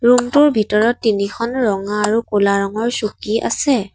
Room টোৰ ভিতৰত তিনিখন ৰঙা আৰু ক'লা ৰঙৰ চকী আছে।